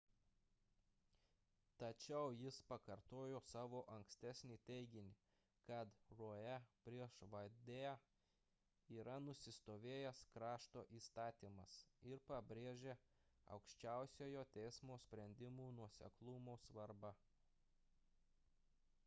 tačiau jis pakartojo savo ankstesnį teiginį kad roe prieš wade'ą yra nusistovėjęs krašto įstatymas ir pabrėžė aukščiausiojo teismo sprendimų nuoseklumo svarbą